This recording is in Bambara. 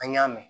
An y'a mɛn